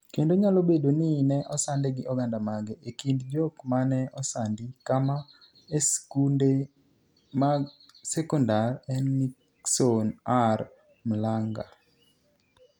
kendo nyalo bedo ni ne osande gi oganda mage. e kind jok mane osandi kama e sikunde mag sekondar en Nickson R Mlang'a